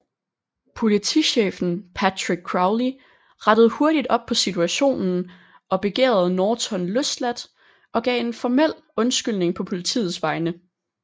Politichefen Patrick Crowley rettede hurtigt op på situationen og begærede Norton løsladt og gav en formel undskyldning på politiets vegne